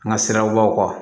An ka sirabaw kan